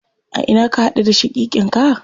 A ina ka haɗu da shaƙiƙin ka?